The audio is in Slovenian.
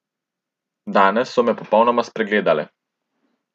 Danes so me popolnoma spregledale.